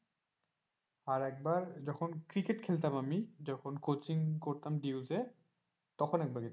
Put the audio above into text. আর একবার যখন ক্রিকেট খেলতাম আমি যখন কোচিং করতাম এ তখন একবার গিয়েছিলাম।